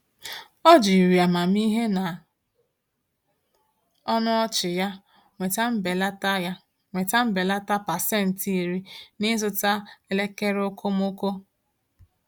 Ọ jiri amamihe na ọnụ ọchị ya nweta mbelata ya nweta mbelata 10% n’ịzụta elekere okomoko.